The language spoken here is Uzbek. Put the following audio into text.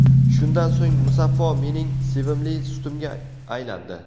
Shundan so‘ng, Musaffo mening sevimli sutimga aylandi.